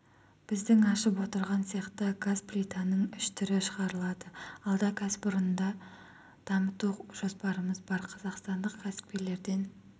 біздің ашып отырған цехта газ плитаның үш түрі шығарылады алда кәсіпорынды дамыту жоспарымыз бар қазақстандық кәсіпкерлерден